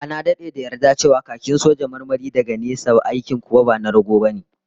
A'a, na dade da yarda cewa khakin soja marmari daga nesa ne, aikin kuwa ba na rago bane